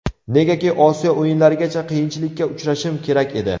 Negaki Osiyo o‘yinlarigacha qiyinchilikka uchrashim kerak edi.